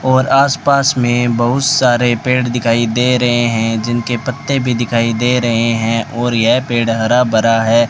और आस पास में बहुत सारे पेड़ दिखाई दे रहे हैं जिनके पत्ते भी दिखाई दे रहे हैं और यह पेड़ हरा भरा है।